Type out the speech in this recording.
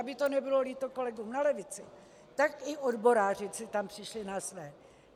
Aby to nebylo líto kolegům na levici, tak i odboráři si tam přišli na své.